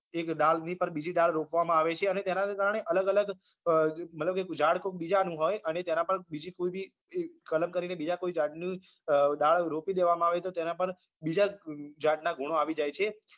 એક ડાળની પર ડાળ રોપવામાં આવે છે અને તેના કારણે અલગ અલગ અમ મતલબ કે ઝાડ કોક બીજાનું હોય અને તેના પર બીજી કોઈ બી કલમ કરીને બીજા કોઈ ઝાડની અમ ડાળ રોપી દેવામાં આવે તો તેના પર બીજા ઝાડના ગુણો આવી જાય છે